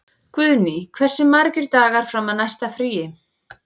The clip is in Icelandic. Guðný, hversu margir dagar fram að næsta fríi?